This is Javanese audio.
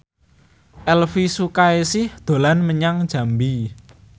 Elvi Sukaesih dolan menyang Jambi